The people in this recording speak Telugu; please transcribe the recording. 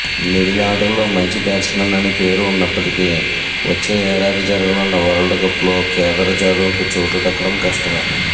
మిడిలార్డర్లో మంచి బ్యాట్స్మన్ అని పేరు ఉన్నప్పటికీ వచ్చే ఏడాది జరగనున్న వరల్డ్కప్లో కేదార్ జాదవ్కు చోటు దక్కడం కష్టమే